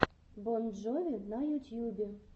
бон джови на ютьюбе